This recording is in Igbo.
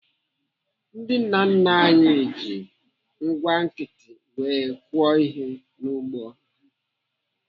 Ndị nna nna anyị ji ngwá nkịtị wee kụọ ihe n'ugbo ha.